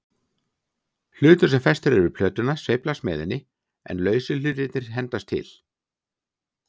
Hlutur sem festur er við plötuna sveiflast með henni, en lausu hlutirnir hendast til.